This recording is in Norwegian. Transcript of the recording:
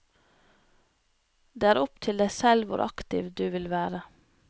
Det er opp til deg selv hvor aktiv du vil være.